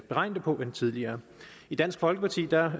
beregne det på end tidligere i dansk folkeparti er